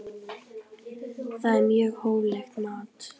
Það er mjög hóflegt mat.